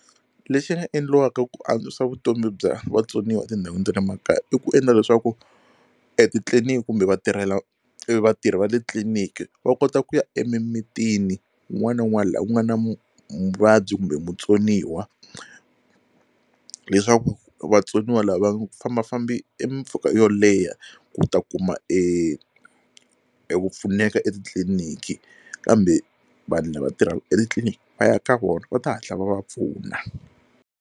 Lexi nga endliwaka ku antswisa vutomi bya vatsoniwa etindhawini ta le makaya i ku endla leswaku etitliliniki kumbe vatirhela e vatirhi va le tliliniki va kota ku ya emimitini wun'wana na wun'wana laha ku nga na mu muvabyi kumbe mutsoniwa leswaku vatsoniwa lava va nga fambafambi e mimpfhuka yo leha ku ta kuma eku pfuneka etitliliniki kambe vanhu lava tirhaka etitliliniki va ya ka vona va ta hatla va va pfuna.